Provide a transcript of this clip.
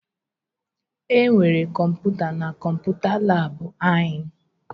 E nwere kọmputa na kọmputa labụ ahụ?